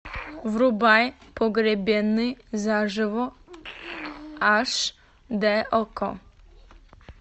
врубай погребенный заживо аш д окко